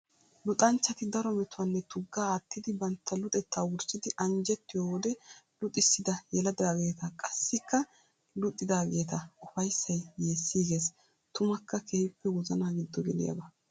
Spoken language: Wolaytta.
Luxanchchatti daro metuwanne tugaa aatiddi bantta luxetta wurssiddi anjjettiyo wode luxissidda yelidagetta qassikka luxiadaageta ufayssay yeesigees. Tummakka keehippe wozana giddo geliyaaba.